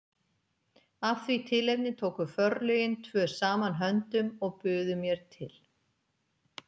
Af því tilefni tóku forlögin tvö saman höndum og buðu mér til